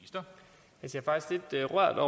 at